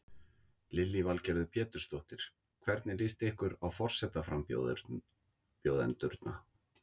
Lillý Valgerður Pétursdóttir: Hvernig líst ykkur á forsetaframbjóðendurna?